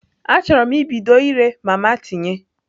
Achọrọ m ibido ire mama tinye.